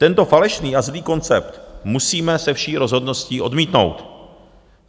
Tento falešný a zlý koncept musíme se vší rozhodností odmítnout.